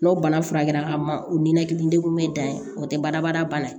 N'o bana furakɛra ka ma o ninakili degun bɛ dan ye o tɛ bara bada bana ye